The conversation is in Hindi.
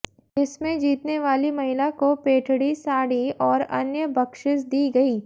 जिसमे जितनेवाली महिला को पैठणी साड़ी और अन्य बक्षिस दी गई